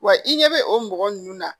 Wa i ɲɛ bɛ o mɔgɔ ninnu na